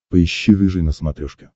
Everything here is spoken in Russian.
поищи рыжий на смотрешке